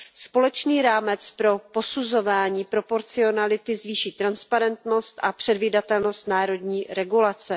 Společný rámec pro posuzování proporcionality zvýší transparentnost a předvídatelnost národní regulace.